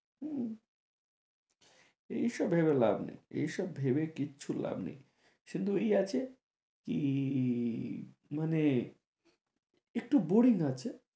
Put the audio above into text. হম এই সব ভেবে লাভ নেই, এই সব ভেবে কিচ্ছু লাভ নেই, শুধু এই আছে কী মানে একটু boring আছে